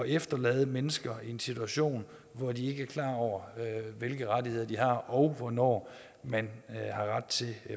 efterlade mennesker i en situation hvor de ikke er klar over hvilke rettigheder de har og hvornår man har ret til